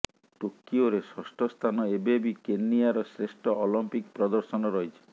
ଟୋକିଓରେ ଷଷ୍ଠ ସ୍ଥାନ ଏବେ ବି କେନିଆର ଶ୍ରେଷ୍ଠ ଅଲିମ୍ପିକ୍ ପ୍ରଦର୍ଶନ ରହିଛି